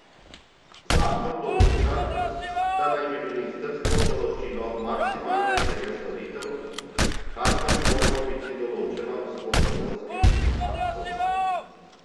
Zakon določa, da naj bi ministrstvo določilo maksimalne cene storitev, kar pa bi moralo biti določeno s podzakonskim aktom.